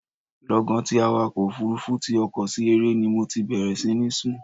Lọ́gán tí awakọ̀ òfurufu ti ọkọ̀ sí eré ni mo ti bẹ̀rẹ̀ sí ní sùn.